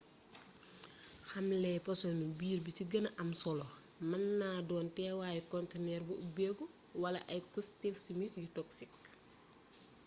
xamley posonu biir bi ci gëna am solo mën naa doon teewaayu kontëneer bu ubbeeku wala ay costéef simik yu toksik